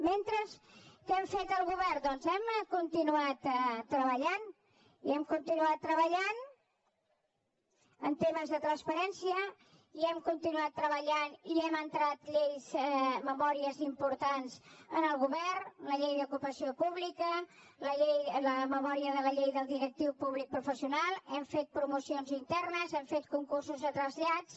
mentre què hem fet el govern doncs hem continuat treballant i hem continuat treballant en temes de transparència i hem continuat treballant i hem entrat lleis memòries importants en el govern la llei d’ocupació pública la memòria de la llei del directiu públic professional hem fet promocions internes hem fet concursos de trasllats